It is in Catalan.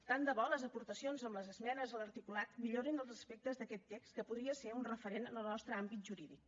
tant de bo les aportacions amb les esmenes a l’articulat millorin els aspectes d’aquest text que podria ser un referent en el nostre àmbit jurídic